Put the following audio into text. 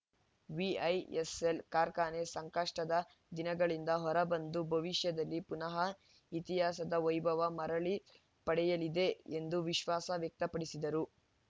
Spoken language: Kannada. ವಿಐಎಸ್‌ಎಲ್‌ ಕಾರ್ಖಾನೆ ಸಂಕಷ್ಟದ ದಿನಗಳಿಂದ ಹೊರಬಂದು ಭವಿಷ್ಯದಲ್ಲಿ ಪುನಃ ಇತಿಹಾಸದ ವೈಭವ ಮರಳಿ ಪಡೆಯಲಿದೆ ಎಂದು ವಿಶ್ವಾಸ ವ್ಯಕ್ತಪಡಿಸಿದರು